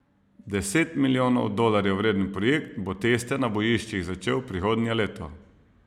Deset milijonov dolarjev vreden projekt bo teste na bojiščih začel prihodnje leto.